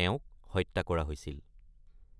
তেওঁক হত্যা কৰা হৈছিল।